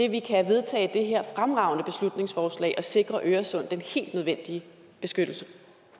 at vi kan vedtage det her fremragende beslutningsforslag og sikre øresund den helt nødvendige beskyttelse